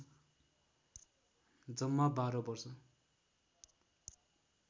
जम्मा १२ वर्ष